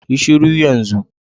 Yi shuru yan zun.